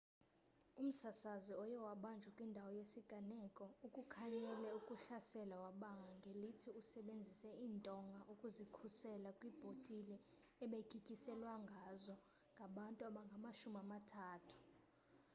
umsasazi oye wabanjwa kwindawo yesiganeko ukukhanyele ukuhlasela wabanga ngelithi usebenzise intonga ukuzikhusela kwibhotile abegityiselwangazo ngabantu abangamashumi amathathu